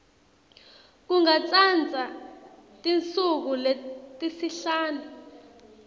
kungatsatsa tinsuku letisihlanu